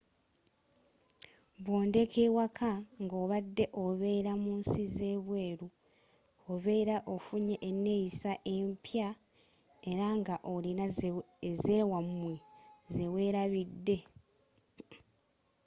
bwodd'ewaka nga obadde oberra mu nsi z'ebweru oberra ofunye eneyissa empya era nga olina ezzewamwe zewelabidde